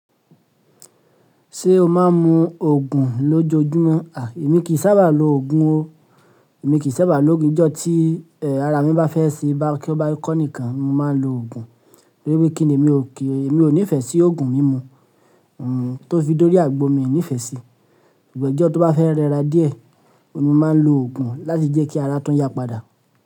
Ṣé o máa ń mu Ògùn lójoojúmọ́? À, èmi kì í sábà lo Ògùn ó. Èmi kì í sábà lo Ògùn, ijọ́ tí ẹ ara mi bá fẹ́ sí bak bá kọ́ nìkan ni mo máa ń lo Ògùn. Torí pé kíni mi ò ki n, mí o nìfẹ́ sí Ògùn mímu tó fi dórí àgbo mii nì ìfẹ́ sí i. Ṣùgbọ́n ọjọ́ tó bá fẹ́ rẹra díẹ̀, oun ni mo máa ń lo Ògùn láti jẹ́ kí ara tun yápadà.